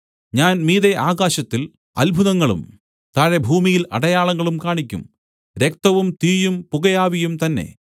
ഞാൻ മീതെ ആകാശത്തിൽ അത്ഭുതങ്ങളും താഴെ ഭൂമിയിൽ അടയാളങ്ങളും കാണിയ്ക്കും രക്തവും തീയും പുകയാവിയും തന്നേ